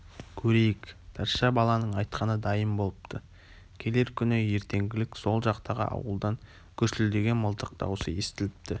көрейік тазша баланың айтқаны дайын болыпты келер күні ертеңгілік сол жақтағы ауылдан гүрсілдеген мылтық даусы естіліпті